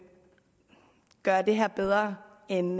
gøre det her bedre end